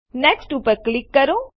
next ઉપર click કરો